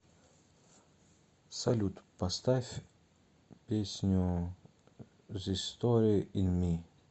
салют поставь песню зис стори ин ми